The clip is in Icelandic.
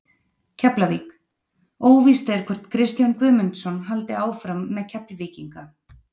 Keflavík: Óvíst er hvort Kristján Guðmundsson haldi áfram með Keflvíkinga.